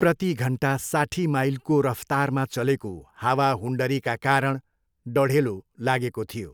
प्रतिघन्टा साठी माइलको रफ्तारमा चलेको हावाहुन्डरीका कारण डढेलो लागेको थियो।